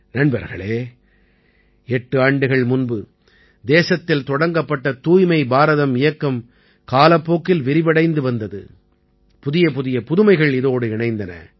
நண்பர்களே எட்டு ஆண்டுகள் முன்பு தேசத்தில் தொடங்கப்பட்ட தூய்மை பாரதம் இயக்கம் காலப்போக்கில் விரிவடைந்து வந்தது புதியபுதிய புதுமைகள் இதோடு இணைந்தன